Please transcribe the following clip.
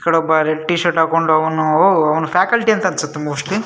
ಆ ಕಡೆ ಒಬ್ಬ ರೆಡ್ ಟಿ ಶರ್ಟ್ ಹಾಕೊಂಡವನು ಅವ್ನು ಫ್ಯಾಕಲ್ಟಿ ಅಂತ ಅನ್ಸುತ್ತೆ ಮೋಸ್ಟ್ಲಿ .